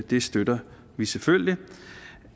vi støtter selvfølgelig